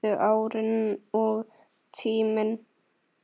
Svo liðu árin og tíminn.